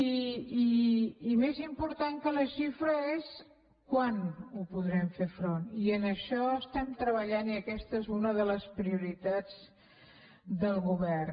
i més important que la xifra és quan hi podrem fer front i en això estem treballant i aquesta és una de les prioritats del govern